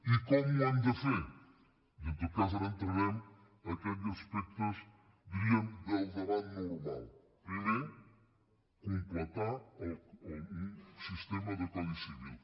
i com ho hem de fer i en tot cas ara entrarem en aquells aspectes diríem del debat normal primer completar un sistema de codi civil